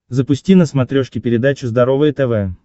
запусти на смотрешке передачу здоровое тв